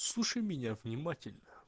слушай меня внимательно